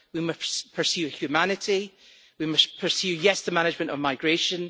We must pursue humanity and we must pursue the management of migration.